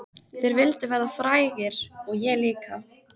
Þeir vildu verða frægir og ég líka.